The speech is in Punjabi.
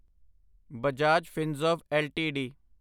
ਬਜਾਜ ਫਿਨਸਰਵ ਐੱਲਟੀਡੀ